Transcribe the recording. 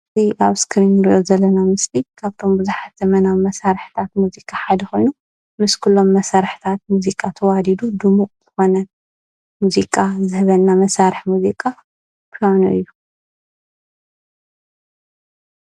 እዚ ኣብ ስክሪን እንርእዮ ዘለና ምስሊ ካብቶም ቡዝሓት ዘመናዊ መሳርሕታት ሙዚቃ ሓደ ኮይኑ ምስ ኩሎም መሳርሕታት ሙዚቃ ተዋዲዱ ድሙቅ ዝኮነ ሙዚቃ ዝህበና መሳርሒ ሙዚቃ ምካኑ እዩ።